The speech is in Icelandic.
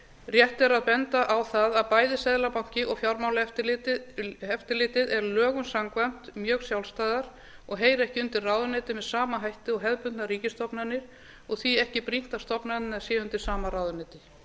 rétt er að benda á það að bæði seðlabanki og fjármálaeftirlitið eru lögum samkvæmt mjög sjálfstæðar stofnanir og heyra ekki undir ráðuneytið með sama hætti og hefðbundnar ríkisstofnanir og því ekki brýnt að stofnanirnar séu undir sama ráðuneyti